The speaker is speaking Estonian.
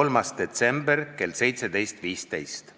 3. detsember kell 17.15.